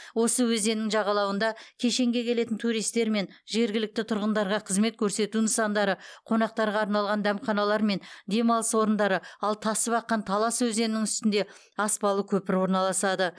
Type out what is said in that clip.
осы өзеннің жағалауында кешенге келетін туристер мен жергілікті тұрғындарға қызмет көрсету нысандары қонақтарға арналған дәмханалар мен демалыс орындары ал тасып аққан талас өзенінің үстінде аспалы көпір орналасады